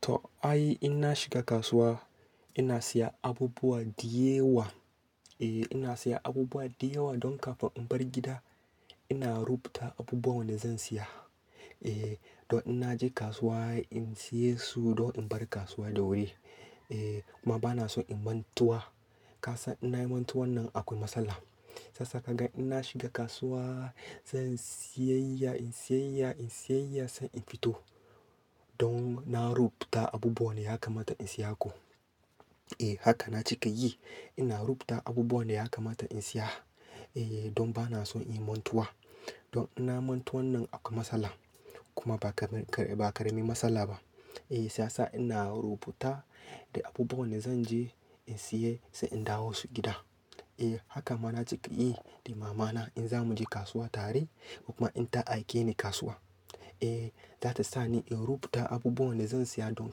To ai, ina shiga kasuwa ina siya abubuwa diyewa. Eh ina siya abubuwa diyewa don kafin in bar gida ina rubuta abubuwan da zan siya. Eh don ina je kasuwa in siye su don in bar kasuwa da wuri. Eh kuma bana son in mantuwa. Ka san ina Yi mantuwan nan akwai matsala. Sasa ka ga in na shiga kasuwa zan siyayya in siyayya in siyayya sai in fito. Don na rubuta abubuwan da ya kamata in siya ko. Eh haka na cika yi. Ina rubuta abubuwan da ya kamata in siya. Eh don bana son in mantuwa. Don ina Yi mantuwan nan akwai matsala. Kuma ba kare, ba kare min matsala ba. Eh sasa ina rubuta da abubuwan da zan je in siya sai in dawo su gida. Eh haka ma na cika yi da mamana in zamu je kasuwa tare kuma in ta aike ni kasuwa. Eh za ta sa ni in rubuta abubuwan da zan siya don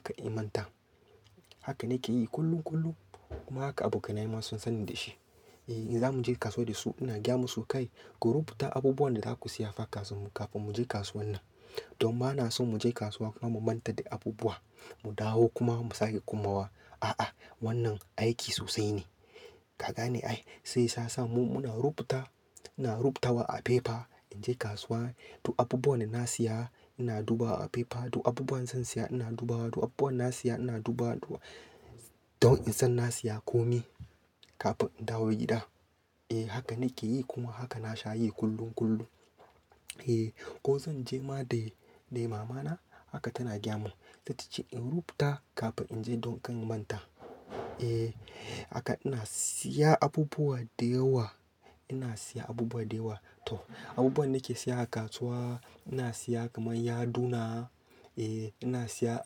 kan in manta. Haka nake yi kullum kullum kuma haka abokanai ma sun sanni da shi. Eh in zamu je kasuwa da su ina gaya musu "Kai ku rubuta abubuwan da zaku siyafa kasun mu kafin mu je kasuwan nan." Don ba na son mu je kasuwa kuma mu manta da abubuwa, mu dawo kuma mu sake komawa. A'a wannan aiki sosai ne. Ka gane ai? Sai sasa mu muna rubuta, muna rubutawa a fefa in je kasuwa. Du abubuwan da na siya ina duba a fefa, du abubuwan zan siya ina duba, du abubuwan na siya ina duba duwa don in san na siya komai kafin in dawo gida. Eh haka nake yi kuma haka na sha yi kullum kullum. Eh ko zan je ma da, da mamana haka tana gyya mun. Za ta ce in rubuta kafin in je don kan manta. Eh haka ina siya abubuwa diyewa, ina siya abubuwa diyewa. To abubuwan nake siya a kasuwa, ina siya kamar yaduna, eh ina siya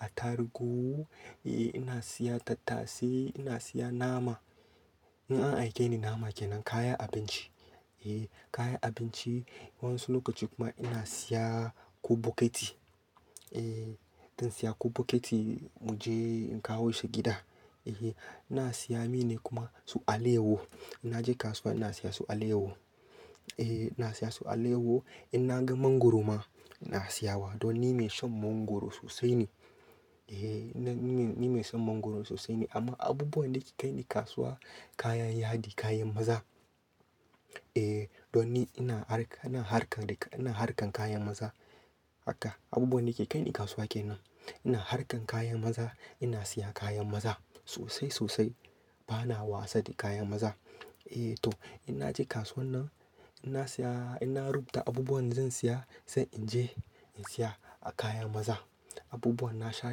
atarugu, eh ina siya tattasai, ina siya nama. In an aike ni nama kenan kayan abinci. Eh kayan abinci wasu lokaci kuma ina siya kobokiti. Eh zan siya kobokiti mu je in kawo shi gida. Eh ina siya mi ne kuma su alewo. Ina je kasuwa ina siya su alewo. Eh ina siya su alewo. In na ga mangwaro ma ina siya wa don ni mai shan mangwaro sosai ne. Eh ni, ni mai son mangwaro sosai ne amma abubuwan da ke kai ni kasuwa kayan yadi, kayan maza. Eh don ni ina harka, ina harkan da, ina harkan kayan maza. Haka abubuwan da ke kai ni kasuwa kenan. Ina harkan kayan maza, ina siya kayan maza sosai sosai. Bana wasa da kayan maza. Eh to in na je kasuwan nan ina siya, ina rubuta abubuwan da zan siya sai in je in siya a kayan maza. Abubuwan na sha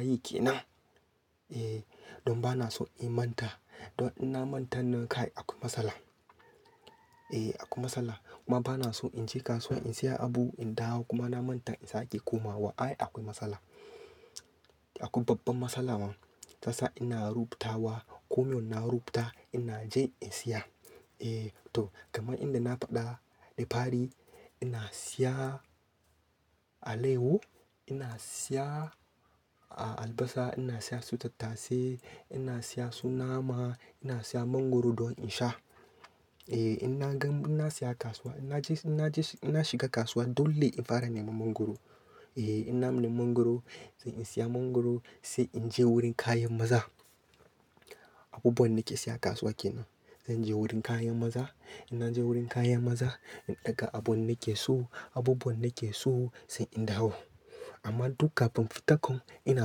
yi kenan. Eh don bana son in manta. Don in na manta nan kai akwai matsala. Eh akwai matsala. Kuma bana son in je kasuwa in siya abu, in dawo kuma na manta in sake komawa. Ai akwai matsala. Akwai babban matsala ma. Sasa ina rubutawa. Komai ina rubuta ina je in siya. Eh to kamar inda na faɗa da fari ina siya alewo, ina siya a albasa, ina siya su tattasai, ina siya su nama, ina siya mangwaro don in sha. Eh ina gan, ina siya kasuwa ina je, ina je, ina shiga kasuwa dole in fara neman mangwaro. Eh ina nemi mangwaro sai in siya mangwaro sai in je wurin kayan maza. Abubuwan nake siya a kasuwa kenan. Zan je wurin kayan maza. Ina je wurin kayan maza in ɗaga abun nake so, abubuwan nake so sai in dawo. Amma duk kafin fitakon ina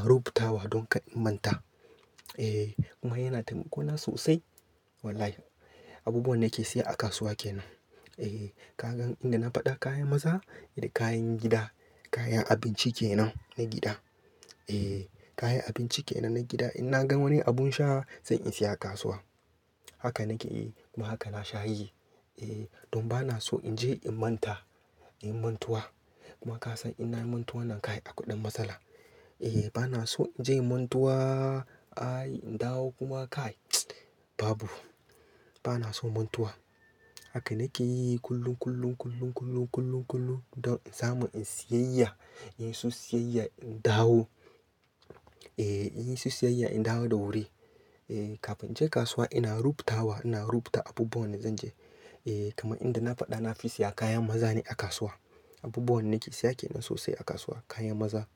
rubutawa don kan in manta. Eh kuma yana taimako na sosai wallahi. Abubuwan nake siya a kasuwa kenan. Eh ka ga in da na faɗa kayan maza da kayan gida, kayan abinci kenan na gida. Eh kayan abinci kenan na gida. In na gan wani abun sha sai in siya a kasuwa. Haka nake yi kuma haka na sha yi. Eh don bana so in je in manta, inyi mantuwa. Kuma ka san ina Yi mantuwan nan kai akwai ɗan matsala. Eh bana so in je in mantuwa ai in dawo kuma kai tss babu. Bana son mantuwa. Haka nake yi kullum, kullum, kullum, kullum, kullum, kullum don in samu in siyayya, in yi su siyayya in dawo. Eh in yi su siyayya in dawo da wuri. Eh kafin in je kasuwa ina rubutawa, ina rubuta abubuwan da zan je. Eh kamar inda na faɗa na fi siya kayan maza ne a kasuwa. Abubuwan nake siya kenan sosai a kasuwa kayan maza.